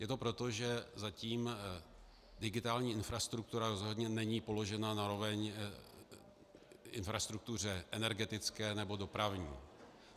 Je to proto, že zatím digitální infrastruktura rozhodně není položena na roveň infrastruktuře energetické nebo dopravní.